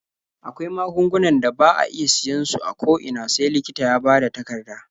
Akwai magungunan da ba a iya siyan su a ko ina sai likita ya bada takarda.